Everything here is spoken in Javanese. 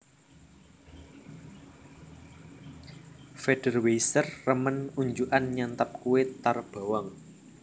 Federweisser remen unjukan nyantap kue tar bawang